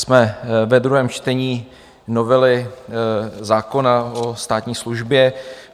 Jsme ve druhém čtení novely zákona o státní službě.